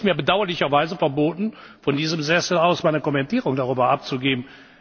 Es ist mir bedauerlicherweise verboten, von diesem Sessel aus meine Kommentierung darüber abzugeben.